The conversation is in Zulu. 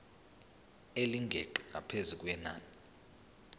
elingeqi ngaphezu kwenani